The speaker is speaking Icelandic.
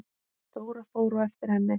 Dóra fór á eftir henni.